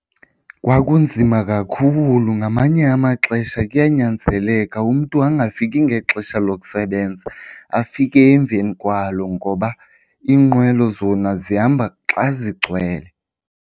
Kwakunzima kakhulu. Ngamanye amaxesha kuyanyanzeleka umntu angafiki ngexesha lokusebenza, afike emveni kwalo, ngoba iinqwelo zona zihamba xa zigcwele.